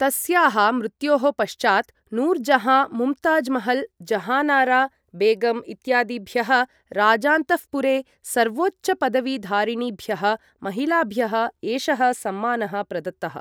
तस्याः मृत्योः पश्चात् नूरजहाँ, मुमताज्महल्, जहानारा बेगम् इत्यादिभ्यः राजान्तःपुरे सर्वोच्चपदवीधारिणीभ्यः महिलाभ्यः एषः सम्मानः प्रदत्तः।